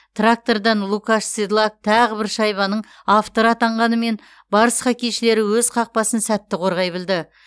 трактордан лукаш седлак тағы бір шайбаның авторы атанғанымен барыс хоккейшілері өз қақпасын сәтті қорғай білді